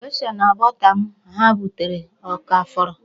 Gesha na bọta m ha butere ọ ka fọrọ?